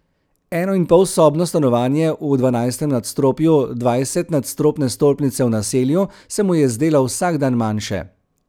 Enoinpolsobno stanovanje v dvanajstem nadstropju dvajsetnadstropne stolpnice v Naselju se mu je zdelo vsak dan manjše.